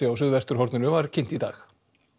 á suðvesturhorninu var kynnt í dag